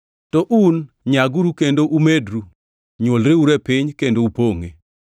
To un, nyaguru kendo umedru; nywolreuru e piny kendo upongʼe.”